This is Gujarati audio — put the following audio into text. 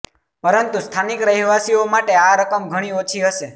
પરંતુ સ્થાનિક રહેવાસીઓ માટે આ રકમ ઘણી ઓછી હશે